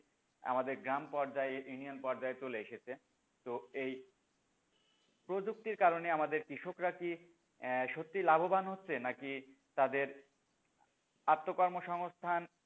আমাদের গ্রাম পর্যায়ে, union পর্যায়ে চলে এসেছে তো এই প্রযুক্তির কারণে আমাদের কৃষকরা কি আহ সত্যি লাভবান হচ্ছে নাকি তাদের আত্ম কর্মসংস্থান,